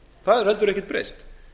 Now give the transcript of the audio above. það hefur heldur ekkert breyst